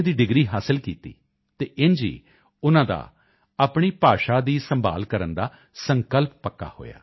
ਦੀ degree ਹਾਸਿਲ ਕੀਤੀ ਅਤੇ ਇੰਝ ਹੀ ਉਨ੍ਹਾਂ ਦਾ ਆਪਣੀ ਭਾਸ਼ਾ ਦੀ ਸੰਭਾਲ ਕਰਨ ਦਾ ਸੰਕਲਪ ਪੱਕਾ ਹੋਇਆ